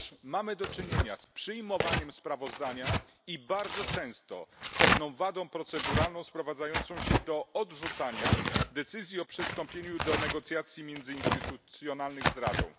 Otóż mamy do czynienia z przyjmowaniem sprawozdania i bardzo często z pewną wadą proceduralną sprowadzającą się do odrzucania decyzji o przystąpieniu do negocjacji międzyinstytucjonalnych z Radą.